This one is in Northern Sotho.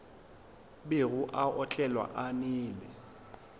bego a otlela a nwele